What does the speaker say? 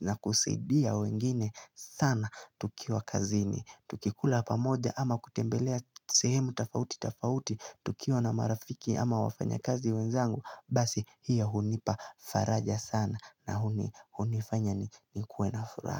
na kusaidia wengine sana tukiwa kazini Tukikula pamoja ama kutembelea sehemu tofauti tofauti tukiwa na marafiki ama wafanyakazi wenzangu Basi hiyo hunipa faraja sana na hunifanya nikue na furaha.